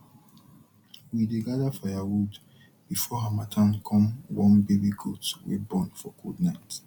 we dey gather firewood before harmattan come warm baby goat wey born for cold night